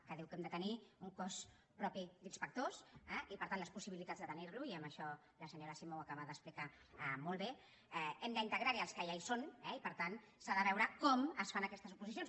que diu que hem de tenir un cos propi d’inspectors i per tant les possibilitats de tenir lo i en això la senyora simó ho acaba d’explicar molt bé hem d’integrar hi els que ja hi són eh i per tant s’ha de veure com es fan aquestes oposicions